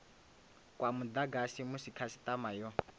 kwa mudagasi musi khasitama yo